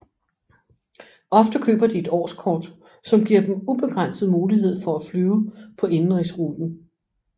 Ofte køber de et årskort som giver dem ubegrænset mulighed for at flyve på indenrigsruten